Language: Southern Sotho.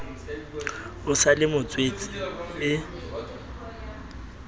o sa le motswetse e